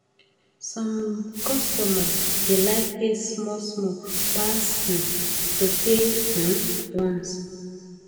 some customer da like pay small small pass um to pay um once